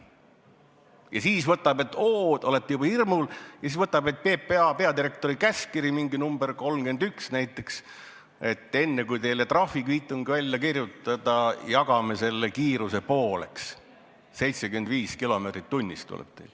Ja siis, kui te olete juba hirmul, võtab politsei välja PPA peadirektori käskkirja, mingi nr 31 näiteks, aga ütleb, et enne kui teile trahvikviitung välja kirjutada, jagame selle kiiruse pooleks: teil tuleb 75 kilomeetrit tunnis.